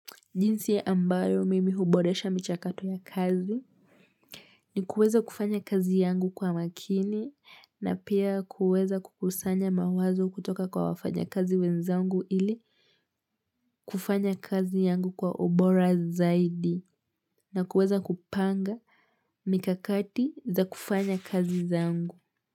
Jinsi ya ambayo mimi huboresha michakato ya kazi ni kuweza kufanya kazi yangu kwa makini na pia kuweza kukusanya mawazo kutoka kwa wafanya kazi wenzangu ili kufanya kazi yangu kwa ubora zaidi na kuweza kupanga mikakati za kufanya kazi zangu.